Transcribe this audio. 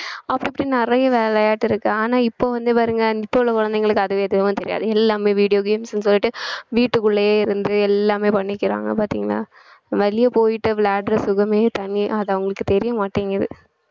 அப்படி இப்படி நிறைய விளையாட்டு இருக்கு ஆனா இப்ப வந்து பாருங்க இப்பொவுள்ள குழந்தைகளுக்கு அதுவே எதுவுமே தெரியாது எல்லாமே video games ன்னு சொல்லிட்டு வீட்டுக்குள்ளேயே இருந்து எல்லாமே பண்ணிக்கிறாங்க பாத்தீங்கன்னா வெளிய போயிட்டு விளையாடுற சுகமே தனி அது அவங்களுக்கு தெரியமாட்டேங்குது